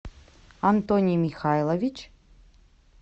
антоний михайлович